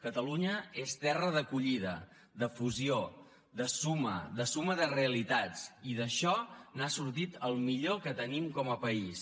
catalunya és terra d’acollida de fusió de suma de suma de realitats i d’això n’ha sortit el millor que tenim com a país